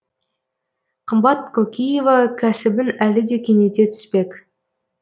қымбат кокиева кәсібін әлі де кеңейте түспек